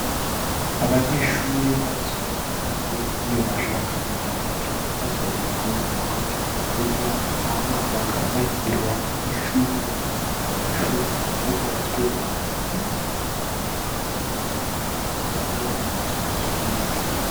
Abanyeshure basohotse hanze iyo bashaka gutaha canke basohotse kuruhuka canke kurya, Hama bakaba bar’iruhande y’ishure Hama ayo mashure akaba yarubatswe amwe n’amatafari ahiye Hama kuruhande hakaba hariho n’akazu ka sugumwe.